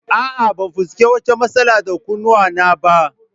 A'a, ban fuskanci wata matsala da kunnuwana ba